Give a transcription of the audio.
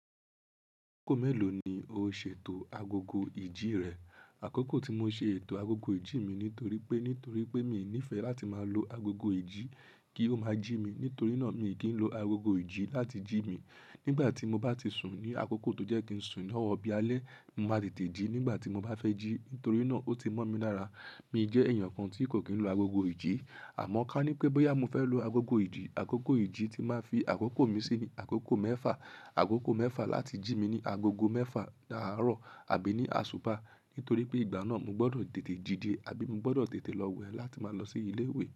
Àkókò mélòó ni o ṣètò agogo ìjí rẹ? Àkókò tí mo ṣe ètò agogo ìjí mi nítorí pé nítorí pé mi nífẹ̀ẹ́ láti máa lo agogo ìjí kí ó máa jí mi. Nítorí náà mi kì í lo agogo ìjí láti jí mi. Nígbà tí mo bá ti sùn ní àkókò tó jẹ́ kí n sùn lọ́wọ́ bí alẹ́, mo máa tètè jí nígbà tí mo bá fẹ́ jí. Nítorí náà ó ti mọ́ mi lára. Mi jẹ́ èèyàn kan tí kò kí n lo agogo ìjí. Àmọ́ ká ní pé bóyá mo fẹ́ lo agogo ìjí, àkókò ìjí tí máa fi àkókò mi sí ni àkókò mẹ́fà. Àkókò mẹ́fà láti jí mi ní agogo mẹ́fà lárọ̀ àbí ní àsuba. Nítorí pé ìgbà náà mo gbọdọ̀ tètè díde àbí mo gbọdọ̀ tètè lọ wẹ láti máa lọ sí ilé ìwé.